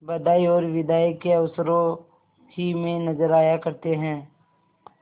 बधाई और बिदाई के अवसरों ही में नजर आया करते हैं